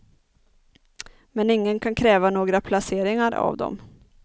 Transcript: Men ingen kan kräva några placeringar av dem.